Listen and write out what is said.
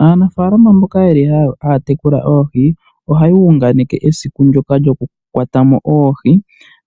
Aanafaalama mboka yeli haya tekula oohi ohaya unganeke esiku ndyoka lyokukwata mo oohi